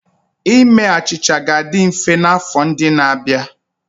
Ime achịcha ga-adị mfe n'afọ ndị na-abịa.